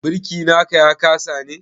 Birki na ka ya kasa ne?